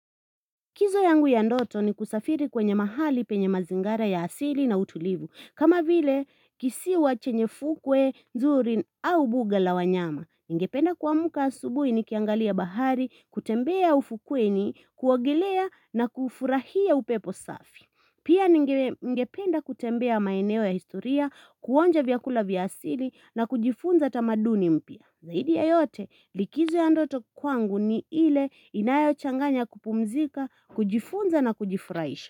Kizo yangu ya ndoto ni kusafiri kwenye mahali penye mazingara ya asili na utulivu. Kama vile kisiwa chenye fukwe, zurin au buga la wanyama. Ningependa kuamuka asubui ni kiangalia bahari, kutembea ufukweni, kuogelea na kufurahia upepo safi. Pia ningependa kutembea maeneo ya historia, kuonja vyakula vya asili na kujifunza tamaduni mpya. Zaidi ya yote likizo ya andoto kwangu ni ile inayo changanya kupumzika, kujifunza na kujifuraisha.